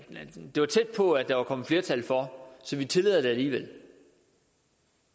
det var tæt på at der var kommet flertal for så vi tillader det alligevel